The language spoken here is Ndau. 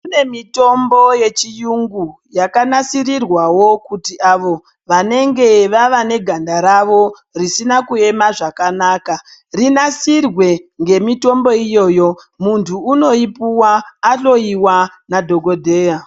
Kune mitombo yechiyungu yakanasirirwawo kuti avo vanenge vavaneganda ravo risina kuema zvakanaka rinasirwe ngemitombo iyoyo. Muntu unoyipuwa ahloyiwa nadhokodheya.